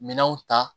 Minɛnw ta